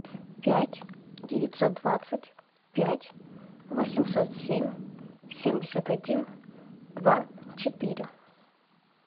пять девятьсот двадцать пять восемьсот семь семьдесят один два четыре